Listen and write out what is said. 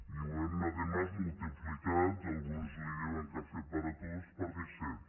i ho hem a més multiplicat alguns en diuen cafè para todos per disset